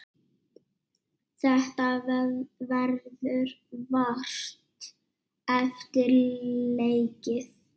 Þetta verður vart eftir leikið.